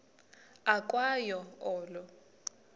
ukwa yo olo